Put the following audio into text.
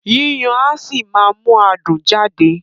Yíyan á ṣì máa mú adùn jáde